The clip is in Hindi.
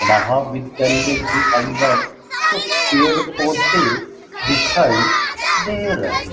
महाविद्यालय के अंदर कुछ पेड़ पौधे दिखाई दे रहे --